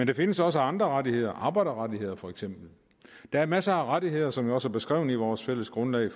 der findes også andre rettigheder arbejderrettigheder for eksempel der er masser af rettigheder som vi også har beskrevet i vores fælles grundlag